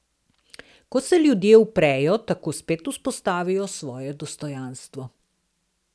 Ko se ljudje uprejo, tako spet vzpostavijo svoje dostojanstvo.